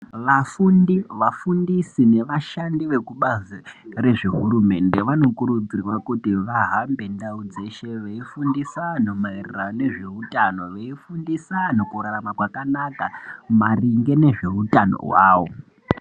Vafundi vafundisi ne vashandi vekubazi rezve hurumende vanokurudzirwa kuti vahambe ndau dzeshe vei fundisa anhu maererano ne zveutano vei fundisa anhu kurarama zvakanaka maringe ne zveutano hwawo.